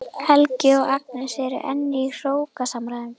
Helgi og Agnes eru enn í hrókasamræðum.